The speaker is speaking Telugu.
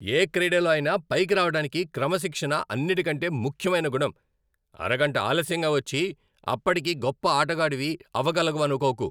ఏ క్రీడలో అయినా పైకి రావటానికి క్రమశిక్షణ అన్నిటికంటే ముఖ్యమైన గుణం. అరగంట ఆలస్యంగా వచ్చి, అప్పటికీ గొప్ప ఆటగాడివి అవగలవనుకోకు.